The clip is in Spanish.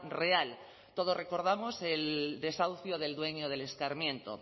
real todos recordamos el desahucio del dueño del escarmiento